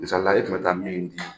Misali la e tun bɛ taa min di